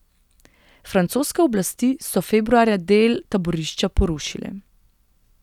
Francoske oblasti so februarja del taborišča porušile.